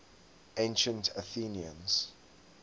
ancient athenians